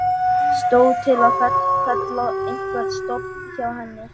Stóð til að fella einhvern stofn hjá henni?